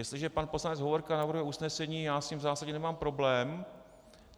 Jestliže pan poslanec Hovorka navrhuje usnesení, já s tím v zásadě nemám problém.